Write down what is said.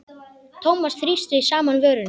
Thomas þrýsti saman vörum.